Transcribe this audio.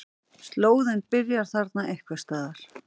Slóðinn byrjar þarna einhvers staðar.